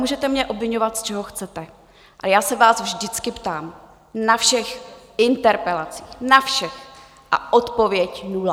Můžete mě obviňovat, z čeho chcete, ale já se vás vždycky ptám, na všech interpelacích, na všech, a odpověď nula.